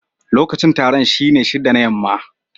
Lokacin taron shine shida na yamma.